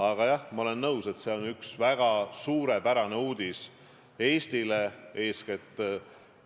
Aga jah, ma olen nõus, et see on üks väga suurepärane uudis Eestile, eeskätt